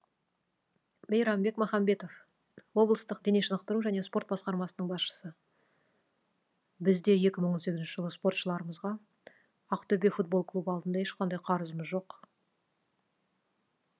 мейрамбек махамбетов облыстық дене шынықтыру және спорт басқармасының басшысы бізде екі мың он сегізінші жылы спортшыларымызға ақтөбе футбол клубы алдында ешқандай қарызымыз жоқ